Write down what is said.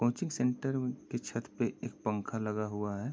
Coaching centre के छत पर एक पंखा लगा हुआ है।